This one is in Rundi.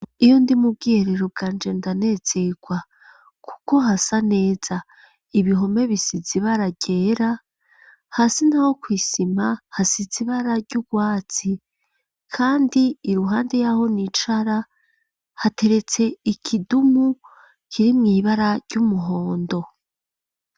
Iyo ndi mu bwiherero, bwa nje, ndanezerwa, kuko hasa neza; ibihome bisize, ibara ryera, hasi naho, kw’isima hasize ibara ry'urwatsi; kandi, iruhande y'aho nicara, hateretse ikidumu, kiri mw’ibara ry'umuhondo.